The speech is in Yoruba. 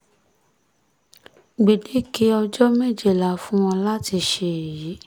gbẹ̀dẹ̀kẹ̀ ọjọ́ méje la fún wọn láti ṣe èyí